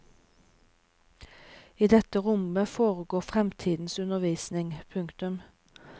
I dette rommet foregår fremtidens undervisning. punktum